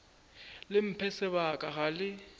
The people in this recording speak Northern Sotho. le mphe sebaka ga le